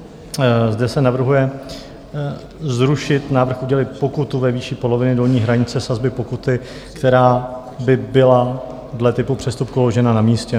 Zde se navrhuje zrušit návrh udělit pokutu ve výši poloviny dolní hranice sazby pokuty, která by byla dle typu přestupku uložena na místě.